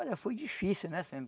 Olha, foi difícil, né?